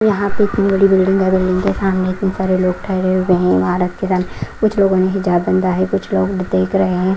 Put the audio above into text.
यहाँ पे इतनी बड़ी बिल्डिंग है बिल्डिंग के सामने इतने सारे लोग ठहरे हुए हैं ईमारत के सामने कुछ लोगों ने हिजाब बाँधा है कुछ लोग देख रहे हैं।